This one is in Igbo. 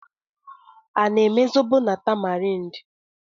A na-eme zobo site na tamarind?